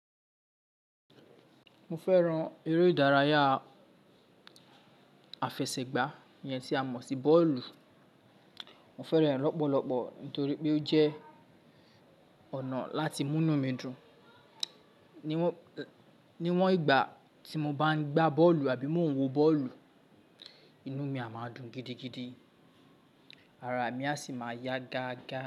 Mo fẹ́ran eré ìdárayá afẹsẹ̀gbá ìyẹn tí a mọ̀ sí bọ́ọ̀lù. Mo fẹ́ran rẹ̀ lọ́pọ̀lọpọ̀ nítorí pé ó jẹ́ ọ̀nà láti mú inú mi dùn. Níwòn, níwòn ìgbà tí mo bá ń gba bọ́ọ̀lù àbí mo ń wo bọ́ọ̀lù, inú mi a máa dùn gidigidi, ara mi a sì máa yá gáágá.